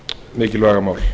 mikilvæga mál